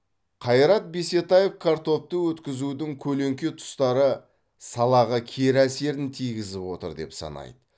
қайрат бисетаев картопты өткізудің көлеңке тұстары салаға кері әсерін тигізіп отыр деп санайды